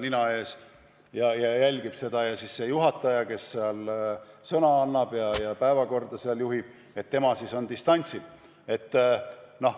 nina ees ja jälgib distantsilt, kuidas juhataja, kes sõna annab, päevakorra läbivõtmist juhib.